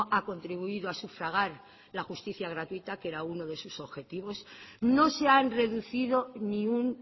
ha contribuido a sufragar la justicia gratuita que era uno de sus objetivos no se han reducido ni un